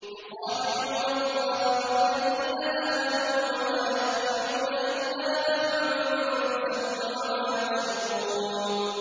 يُخَادِعُونَ اللَّهَ وَالَّذِينَ آمَنُوا وَمَا يَخْدَعُونَ إِلَّا أَنفُسَهُمْ وَمَا يَشْعُرُونَ